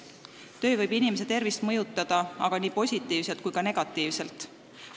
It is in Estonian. Töö võib inimese tervist mõjutada aga nii positiivselt kui ka negatiivselt.